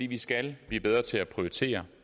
vi skal blive bedre til at prioritere